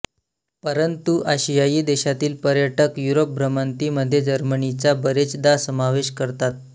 परंतु आशियाई देशांतील पर्यटक युरोप भ्रमंतीमध्ये जर्मनीचा बरेचदा समावेश करतात